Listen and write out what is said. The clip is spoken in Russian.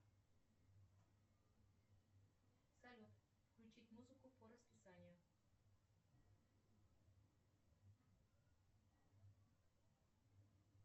салют включить музыку по расписанию